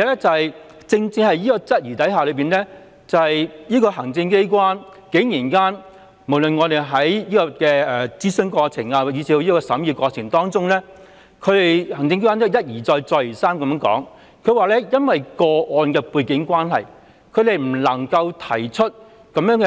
再者，雖然此點備受質疑，但行政機關無論是在諮詢過程以致審議過程當中，竟然一而再、再而三說由於個案的背景關係，他們不能夠指出新安排